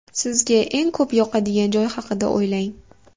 Sizga eng ko‘p yoqadigan joy haqida o‘ylang.